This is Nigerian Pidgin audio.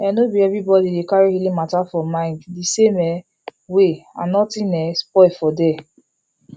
ehnno be everybody dey carry healing matter for mind the same um way and nothing um spoil for there